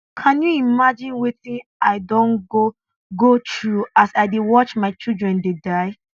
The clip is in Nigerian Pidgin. can you imagine wetin i don go go through as i dey watch my children dey die